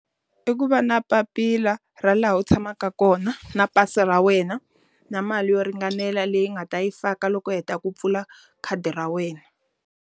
I ku va na papila ra laha u tshamaka kona na pasi ra wena na mali yo ringanela leyi nga ta yi faka loko heta ku pfula khadi ra wena.